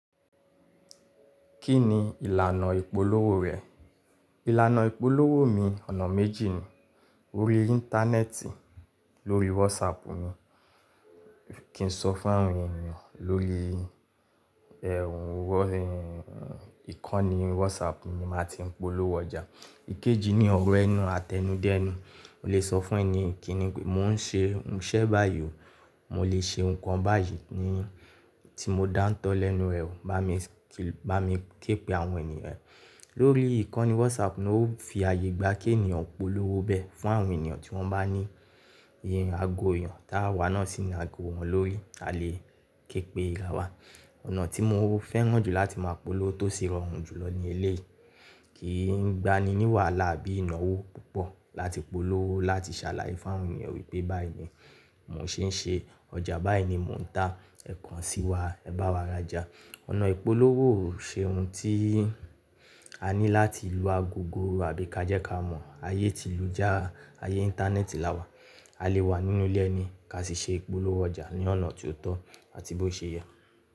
Kí ni ìlànà ìpolówó rẹ̀? Ìlànà ìpolówó mi ọ̀nà méjì ni. Orí Íńtánẹ́ẹ̀tì lórí WhatsApp ni. Kì n sọ fún àwọn ènìyàn lórí ẹh, ìkànnì WhatsApp ni màá ti ń polówó ọjà. Ikeji ni ọ̀rọ̀ ẹnu àtẹnudẹ́nu. Mo lè sọ fún ẹní kíni pe mó ń ṣe iṣẹ́ báyìí o, mo lè ṣe nǹkan báyìí ni tí mo dáńtọ́ lẹ́nu rẹ o, bá mi képe àwọn ènìyàn e. Lórí ìkànnì WhatsApp ni ó fi àyè gba kí ènìyàn polówó bẹ́ fún àwọn ènìyàn tí wọ́n bá ní ago èèyàn táa wà náà sì ní ago wọn lórí, a lè képe rà wa. Ọ̀nà tí mo fẹ́ràn jù láti máa polówó tó sì rọrùn jùlọ ní eléyìí kì n gba ni wàhálà àbí ìnáwó púpọ̀ láti polówó, láti ṣàlàyé fún àwọn ènìyàn wípé báyìí ni mò ń ṣe ẹ́, ọjà báyìí ni mò ń ta, ẹ̀kan sí wa, ẹ bá wa rajà. Ọ̀nà ìpolówó on ṣe ohun tí a ní láti lu agogo àbí ká jẹ́ ká mọ ayé tí lú jára ayé Íńtánẹ́ẹ̀tì la wa. A lè wà nínú ilé ẹni ká sì ṣe ìpolówó ọjà ní ọ̀nà tó tọ́ àti bó ṣe yẹ.